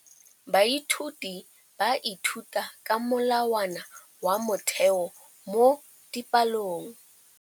Baithuti ba ithuta ka molawana wa motheo mo dipalong.